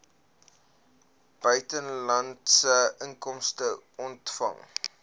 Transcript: buitelandse inkomste ontvang